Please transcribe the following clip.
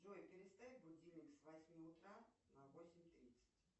джой переставь будильник с восьми утра на восемь тридцать